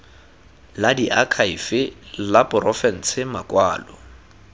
la diakhaefe la porofense makwalo